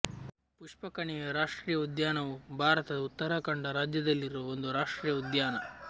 ಪುಷ್ಪಕಣಿವೆ ರಾಷ್ಟ್ರೀಯ ಉದ್ಯಾನವು ಭಾರತದ ಉತ್ತರಾಖಂಡ ರಾಜ್ಯದಲ್ಲಿರುವ ಒಂದು ರಾಷ್ಟ್ರೀಯ ಉದ್ಯಾನ